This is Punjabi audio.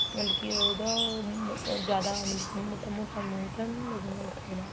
ਮਤਲਬ ਕੀ ਉਹਦਾ ਉਹ ਜਿਆਦਾ ਮਤਲਬ ਕੀ ਮੋਟਾ ਮੂਹ ਤਾਂ ਨਹੀਂ ਲਗੂਗਾ ਇਹਦੇ ਨਾਲ